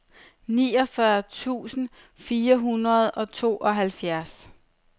niogfyrre tusind fire hundrede og tooghalvfjerds